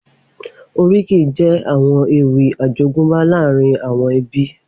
Oríkì jè áwòn éwì àjógùnbá làárín áwòn èbí